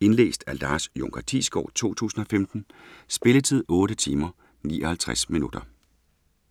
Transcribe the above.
Indlæst af Lars Junker Thiesgaard, 2015. Spilletid: 8 timer, 59 minutter.